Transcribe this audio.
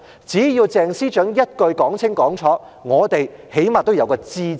只要鄭司長一句說清楚，我們最少得個"知"字。